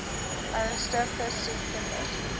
ernstige siek kinders